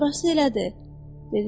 Orası elədi, dedi George.